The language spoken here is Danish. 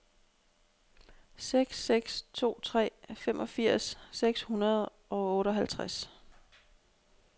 seks seks to tre femogfirs seks hundrede og otteoghalvtreds